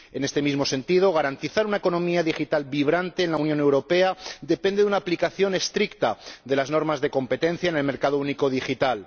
En este mismo sentido, garantizar una economía digital vibrante en la Unión Europea depende de una aplicación estricta de las normas de competencia en el mercado único digital.